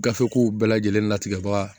Gafew bɛɛ lajɛlen natigɛbaga